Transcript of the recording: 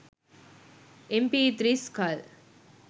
mp3 skull